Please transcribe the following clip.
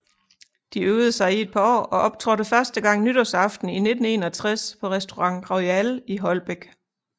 De øvede sig i et par år og optrådte første gang nytårsaften 1961 på Restaurant Royal i Holbæk